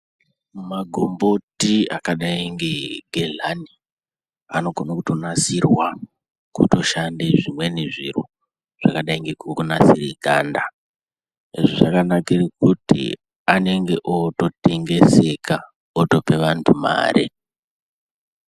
Magomboti akadai ngegehlani anogona kutonasirwa kutoshanda zvimweni zviro zvakadai ngekunasira ganda, zvakanakira kuti anenge ototengeseka otopa vantu mare.